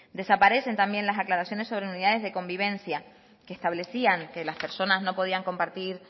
desaparecen también las aclaraciones sobre unidades de convivencia que establecían que las personas no podían compartir